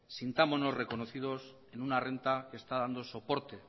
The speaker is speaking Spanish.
sintámonos reconocidos en una renta que está dando soporte